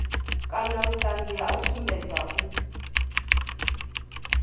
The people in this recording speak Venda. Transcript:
kana vhuṱanzi ha u sumbedza